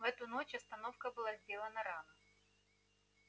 в эту ночь остановка была сделана рано